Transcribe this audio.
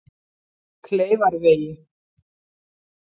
Kleifarvegi